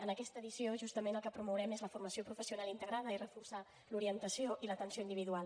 en aquesta edició justament el que promourem és la formació professional integrada i reforçar l’orientació i l’atenció individual